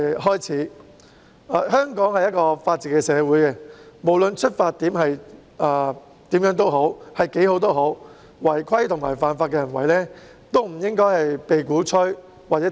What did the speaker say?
香港是法治社會，無論出發點為何或有多好，亦不應鼓吹或提倡違規和犯法的行為。